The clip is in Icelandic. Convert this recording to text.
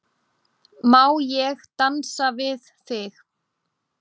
Má ég dansa við þig?